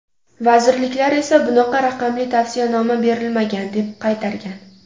Vazirliklar esa bunaqa raqamli tavsiyanoma berilmagan, deb qaytargan.